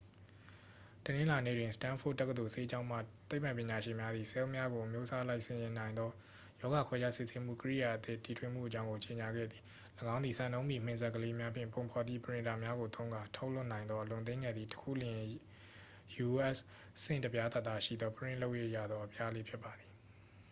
တနင်္လာနေ့တွင် စတန်းဖို့ဒ်တက္ကသိုလ် ဆေးကျောင်းမှ သိပ္ပံပညာရှင်များသည် ဆဲလ်များကို အမျိုးအစားအလိုက် စီစဉ်နိုင်သော ရောဂါခွဲခြားစစ်ဆေးမှု ကိရိယာအသစ် တီထွင်မှုအကြောင်းကို ကြေညာခဲ့သည် ၎င်းသည် စံနှုန်းမီ မင်စက်ကလေးများဖြင့် ပုံဖော်သည့် ပရင်တာများကို သုံးကာ ထုတ်လုပ်နိုင်သော အလွန်သေးငယ်သည့် တစ်ခုလျှင် u.s. ဆင့်တစ်ပြားသာသာရှိသော ပရင့်လုပ်၍ရသော အပြားလေးဖြစ်ပါသည်